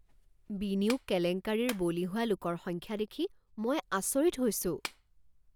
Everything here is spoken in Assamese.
বিনিয়োগ কেলেংকাৰীৰ বলি হোৱা লোকৰ সংখ্যা দেখি মই আচৰিত হৈছো।